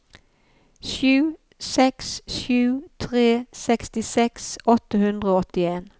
sju seks sju tre sekstiseks åtte hundre og åttien